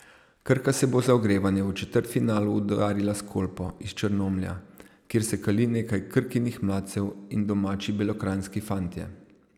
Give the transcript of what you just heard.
Krka se bo za ogrevanje v četrtfinalu udarila s Kolpo iz Črnomlja, kjer se kali nekaj Krkinih mladcev in domači belokranjski fantje.